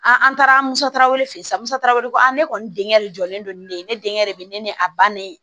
An an taara musaw de fɛ yen sisan musaraw ye ne kɔni denkɛ de jɔlen don ni ne ye ne denkɛ de bɛ ne ni a bannen